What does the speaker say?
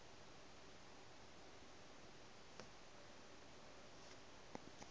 go re ga re sa